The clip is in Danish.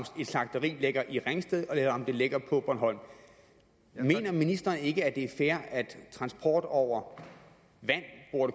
et slagteri ligger i ringsted eller om det ligger på bornholm mener ministeren ikke det er fair at transport over vand